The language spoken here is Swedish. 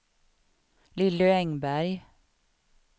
Lilly Engberg